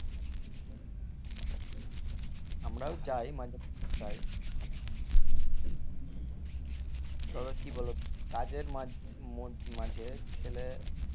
আমরাও যাই মাঝে মধ্যে যাই ওখানে তবে কি বলো তো কাজের মাঝে মোদ~ মাঝে খেলে